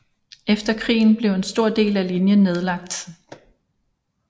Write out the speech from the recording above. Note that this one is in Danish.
Efter krigen blev en stor del af linjen nedlagt